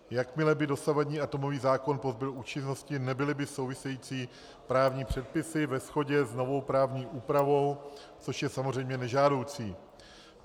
Jakmile by dosavadní atomový zákon pozbyl účinnosti, nebyly by související právní předpisy ve shodě s novou právní úpravou, což je samozřejmě nežádoucí.